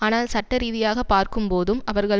ஆனால் சட்ட ரீதியாகப் பார்க்கும்போதும் அவர்கள்